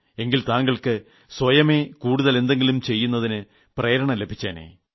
എങ്കിൽ താങ്കൾക്ക് സ്വയമേ കൂടുതൽ എന്തെങ്കിലും ചെയ്യുന്നതിന് പ്രേരണ ലഭിച്ചേനെ